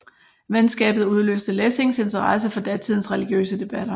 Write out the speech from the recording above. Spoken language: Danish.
Venskabet udløste Lessings interesse for datidens religiøse debatter